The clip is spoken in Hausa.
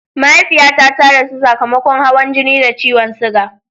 Mahaifiyata ta rasu sakamakon hawan jini da ciwon suga.